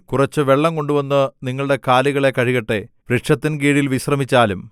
കുറച്ചു വെള്ളം കൊണ്ടുവന്നു നിങ്ങളുടെ കാലുകളെ കഴുകട്ടെ വൃക്ഷത്തിൻ കീഴിൽ വിശ്രമിച്ചാലും